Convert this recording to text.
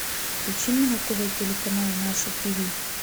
включи мне на тв телеканал наше тиви